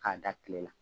K'a da kile la